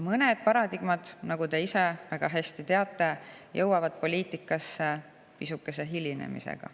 Mõned paradigmad, nagu te ise väga hästi teate, jõuavad poliitikasse pisukese hilinemisega.